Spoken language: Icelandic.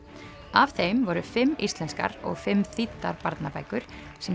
af þeim voru fimm íslenskar og fimm þýddar barnabækur sem